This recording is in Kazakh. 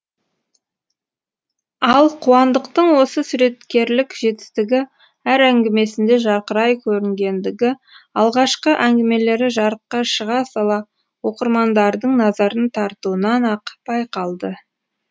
ал қуандықтың осы суреткерлік жетістігі әр әңгімесінде жарқырай көрінгендігі алғашқы әңгімелері жарыққа шыға сала оқырмандардың назарын тартуынан ақ байқалды